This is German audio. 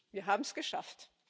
Wir haben es geschafft.